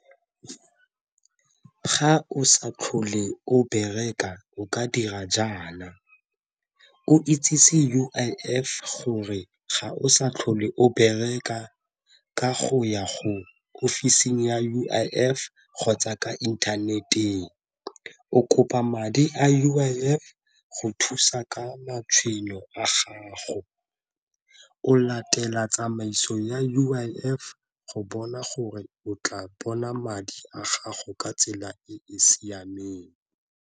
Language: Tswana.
Ga o sa tlhole o bereka o ka dira jaana o itsise U_I_F gore ga o sa tlhole o bereka ka go ya go ofising ya U_I_F kgotsa ka internet-eng. O kopa madi U_I_F go thusa ka matshwenyo a gago, o latela tsamaiso ya U_I_F go bona gore o tla bona madi a gago ka tsela e e siameng.